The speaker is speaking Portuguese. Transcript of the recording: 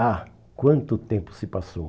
Ah, quanto tempo se passou!